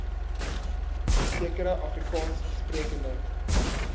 sekere afrikaans sprekende